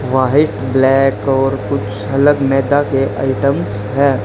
White black और कुछ अलग मैदा के आइटम्स है।